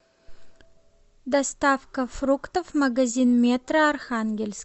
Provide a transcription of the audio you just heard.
доставка фруктов магазин метро архангельск